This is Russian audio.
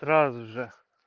сразу же